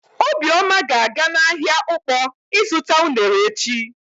Obioma ga-aga n'ahịa Ụkpọ ịzụta unere echi.